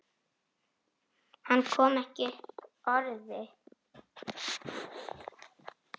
Hvað áttum við að halda?